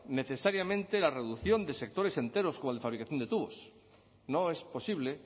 necesariamente la reducción de sectores enteros como el de fabricación de tubos no es posible